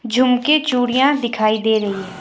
झुमके चूड़ियां दिखाई दे रही है।